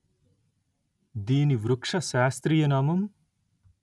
దీని వృక్ష శాస్త్రీయ నామం